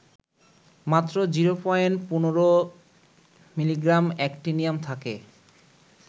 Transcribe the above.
মাত্র ০.১৫ milligram actinium থাকে